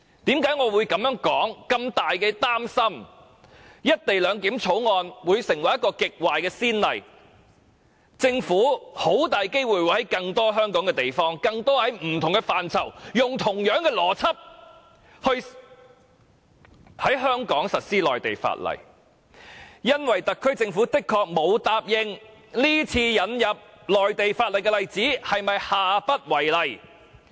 我之所以這樣說和感到非常擔心，是因為《條例草案》開立了極壞的先例，以致政府很大機會會在香港其他地方，利用同一邏輯實施內地法例，因為特區政府的確沒有承諾，這次引入內地法例的做法將下不為例。